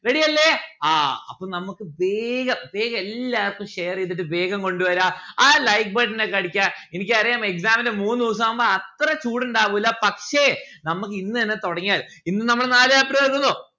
ready അല്ലെ? ആ അപ്പൊ നമ്മുക്ക് വേഗം വേഗം എല്ലാർക്കും share ചെയ്തിട്ട് വേഗം കൊണ്ട് വരാ. ആ like button ഒക്കെ അടിക്കാ. എനിക്ക് അറിയാം exam ന്റെ മൂന്ന് ദിവസമാവുമ്പോ അത്ര ചൂടുണ്ടാവുല്ല പക്ഷെ നമ്മുക്ക് ഇന്നെന്നെ തുടങ്ങിയാൽ ഇന്ന് നമ്മൾ നാല് chapter തീർക്കുന്നു